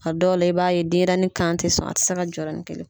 A dɔw la, i b'a ye denɲɛrɛnnin kan tɛ sɔn , a tɛ se ka jɔ yɔrɔnin kelen.